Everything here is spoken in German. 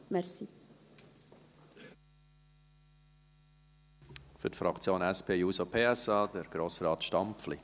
Für die Fraktion SP-JUSO-PSA, Grossrat Stampfli.